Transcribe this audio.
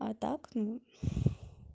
а так